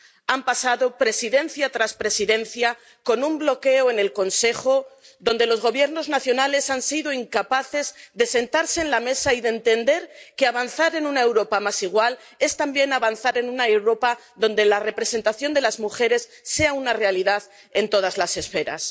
Han pasado presidencia tras presidencia con un bloqueo en el Consejo, donde los Gobiernos nacionales han sido incapaces de sentarse en la mesa y de entender que avanzar en una Europa más igual es también avanzar en una Europa donde la representación de las mujeres sea una realidad en todas las esferas.